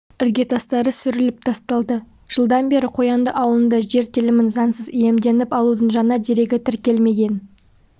іргетастары сүріліп тасталды жылдан бері қоянды ауылында жер телімін заңсыз иемденіп алудың жаңа дерегі тіркелмеген